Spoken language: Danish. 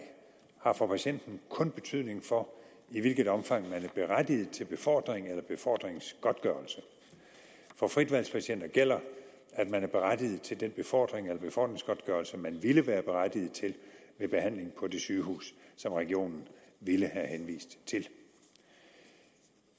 har for patienten kun betydning for i hvilket omfang man er berettiget til befordring eller befordringsgodtgørelse for fritvalgspatienter gælder at man er berettiget til den befordring eller befordringsgodtgørelse man ville være berettiget til ved behandling på det sygehus som regionen ville have henvist til